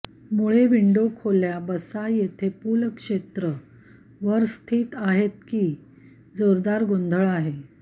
मुळे विंडो खोल्या बसा येथे पूल क्षेत्र वर स्थित आहेत की जोरदार गोंधळ आहे